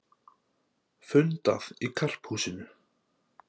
Fundað í Karphúsinu